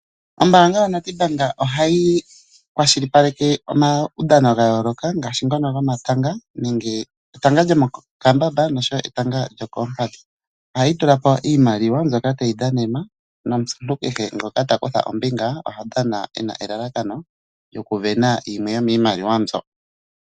Ombanga yaStandard ohayi kwashilipaleke omawudhano dha yooloka ngaashi etanga lyomokambamba netanga lyokoompadhi. Oha li tulapo iimaliwa mbyoka tayi dhanenwa nomuntu kehe ngoka takutha ombinga oha dhana e na elalakano lyokuvena yimwe yomiimaliwa mbyo.